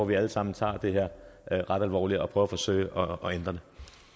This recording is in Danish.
vi alle sammen tager det her ret alvorligt og forsøger at ændre det